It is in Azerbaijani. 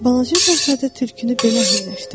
Balaca şahzadə Tülkünü belə əhilləşdirdi.